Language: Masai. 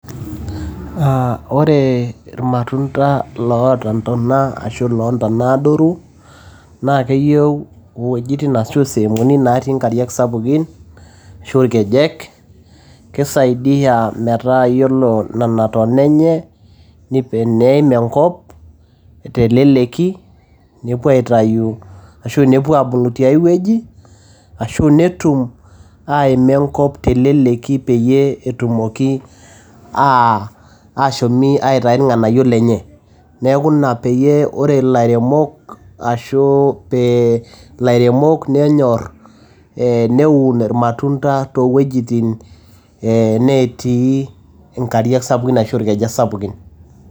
Aah ore ilmatunda loota ntona ashu loota ntona adoru naa keyieu iwuejitin ashu isehemuni natii nkariak sapukin ashu ilkejek. Keisaidia metaa iyiolo nena tona enye neim enkop teleleki nepuo aitayu ashu nepuo aabulu tiai wueji ashu nepuo aabulu ashu netum aima enkop teleleki peyie etumoki aa aashomi aitayu ilng`anayio lenye. Niaku ina peyie ore lairemok ashu pee ilairemok nenyor eeh neun ilmatunda too wuejitin netii nkariak sapukini ashu ilkenyek sapukin.